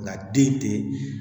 Nka den tɛ